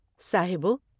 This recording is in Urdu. صاحبو!